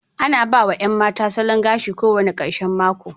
Ana ba wa 'yan mata salon gashi kowane ƙarshen mako.